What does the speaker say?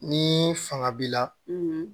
Ni fanga b'i la